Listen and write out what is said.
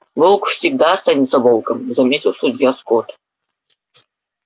волк всегда останется волком заметил судья скотт